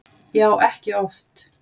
Já, ekki oft